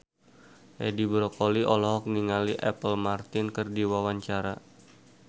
Edi Brokoli olohok ningali Apple Martin keur diwawancara